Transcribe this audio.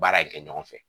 Baara in kɛ ɲɔgɔn fɛ